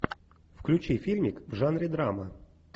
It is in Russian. включи фильмик в жанре драма